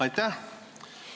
Aitäh!